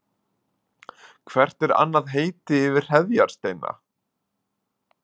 Hvert er annað heiti yfir hreðjarsteina?